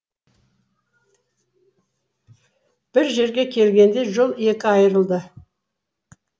бір жерге келгенде жол екі айрылды